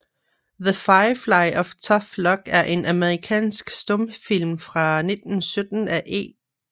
The Firefly of Tough Luck er en amerikansk stumfilm fra 1917 af E